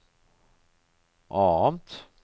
annet